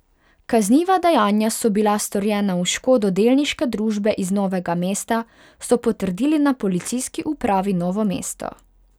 Kazniva dejanja so bila storjena v škodo delniške družbe iz Novega mesta, so potrdili na Policijski upravi Novo mesto.